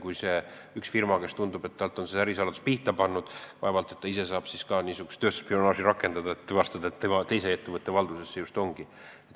Kui firma tunneb, et talt on ärisaladus pihta pandud, siis vaevalt ta ise saab tööstusspionaaži rakendada, tuvastamaks, et see saladus just teise ettevõtte valduses on.